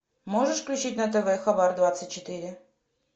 можешь включить на тв хабар двадцать четыре